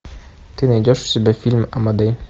ты найдешь у себя фильм амадей